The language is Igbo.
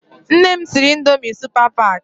Nne m siri Ịndomì Supa Pak.